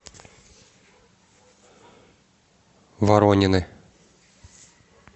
воронины